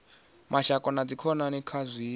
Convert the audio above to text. mashaka na dzikhonani kha zwithu